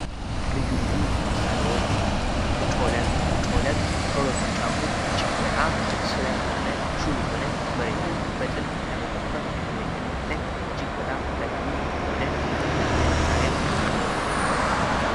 ልዩ ልዩ መሳሪያዎች ፦ ጮለቅ፦ ከሁለቱ ጫፉ እጅግ በጣም ስለት የሆነ ሹል የሆነ መሬትን በጥልቅ ለመቆፈር የሚያገለግለን እጅግ በጣም ጠቃሚ የሆነ የልዩ ልዩ መሳሪያ ዕቃ ነው።